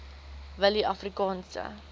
willieafrikaanse